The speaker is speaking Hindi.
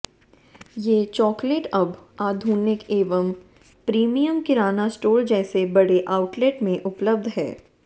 ये चॉकलेट अब आधुनिक एवं प्रीमियम किराना स्टोर जैसे बड़े आउटलेट में उपलब्ध हैं